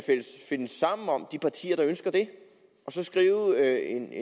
finde sammen om de partier der ønsker det og så skrive en